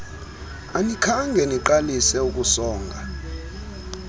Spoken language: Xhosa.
anikhange niqalise ukusonga